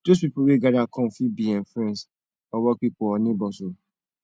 dose pipo weh gada kom fit bi em friends or work pipo or neibors o